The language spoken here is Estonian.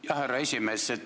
Jah, härra esimees.